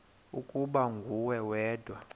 ukuba nguwe wedwa